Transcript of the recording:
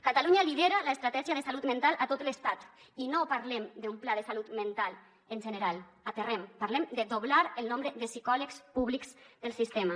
catalunya lidera l’estratègia de salut mental a tot l’estat i no parlem d’un pla de salut mental en general aterrem parlem de doblar el nombre de psicòlegs públics del sistema